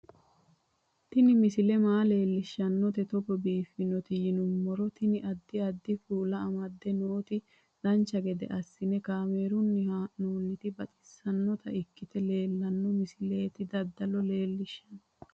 Tini misile maa leellishshannote togo biiffinoti yinummoro tini. addi addi kuula amadde nooti dancha gede assine kaamerunni haa'noonniti baxissannota ikkite leeltanno misileeti dadalo leellishshanno